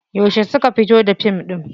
Yauce suka fito da fim ɗin?